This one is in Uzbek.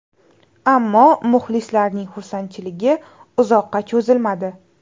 Ammo muxlislarning xursandchiligi uzoqqa cho‘zilmadi.